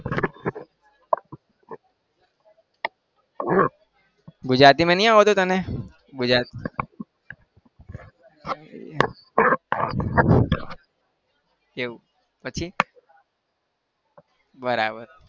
ગુજરાતીમાં નહિ આવડતું તને ગુજરાતી એવું પછી બરાબર